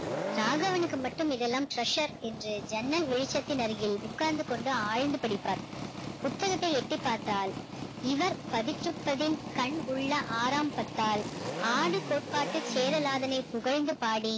ராகவனுக்கு மட்டும் இதெல்லாம் tressure என்று ஜன்னல் வெளிச்சத்தின் அருகில் உட்கார்ந்து கொண்டு ஆழ்ந்து படிப்பார் புத்தகத்தை எட்டிப்பார்த்தால் இவர் கண் உள்ள ஆராம்பத்தால் ஆடு கோட்பாட்டு சேரலாதனை புகழ்ந்து பாடி